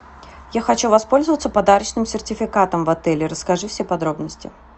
я хочу воспользоваться подарочным сертификатом в отеле расскажи все подробности